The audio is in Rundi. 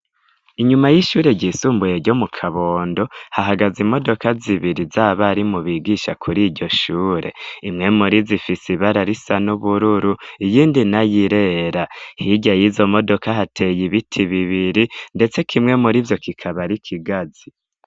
Inyuma y'ishure ryisumbuye ryo mu Kabondo hahagaze imodoka zibiri z'abarimu bigisha kuri iryo shure, imwe muri zo ifise ibara risa n'ubururu, iyindi nayo irera, hirya yizo modoka hateye ibiti bibiri ndetse kimwe muri ivyo kikaba ari ikigazi.